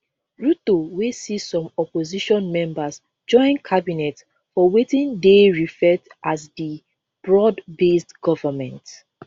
ruto wey see some opposition members join cabinet for wetin dey referred as di broadbased government